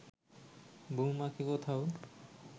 বউমাকে কোথাও